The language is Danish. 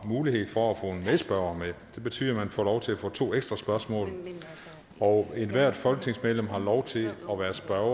mulighed for få en medspørger med det betyder at man får lov til at få to ekstra spørgsmål og ethvert folketingsmedlem har lov til at være spørger hver